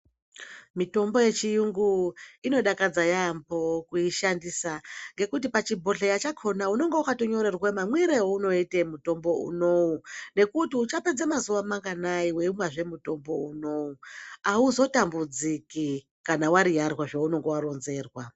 Mitombo yechi yungu inodakadza yambo kuishandisa ngekuti pachi bhohleya chakona unenge wakato nyorerwa mamwire aunoite mutombo unowu nekuti ucha pedza mazuva manganai weimwa mutombo unowu auzotambudziki kana wa yiyarwa zvaunenge wa ronzerwa.